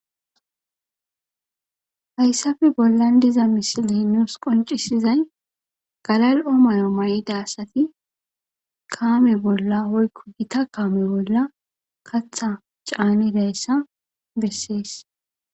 Hayssafe bollan diza misili nuus qoncisizay galal'omayo may'idasati kaame bolla hoykko gita kaame bolla katha caanideessa bessees.